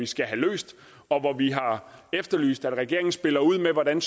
skal have løst og vi har efterlyst at regeringen spiller ud med hvordan